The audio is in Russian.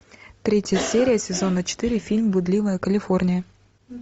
третья серия сезона четыре фильм блудливая калифорния